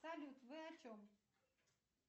салют вы о чем